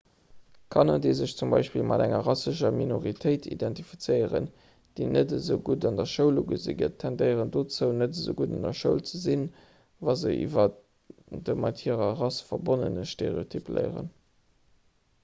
kanner déi sech zum beispill mat enger rassescher minoritéit identifizéieren déi net als esou gutt an der schoul ugesi gëtt tendéieren dozou net esou gutt an der schoul ze sinn wa se iwwer de mat hirer rass verbonnene stereotyp léieren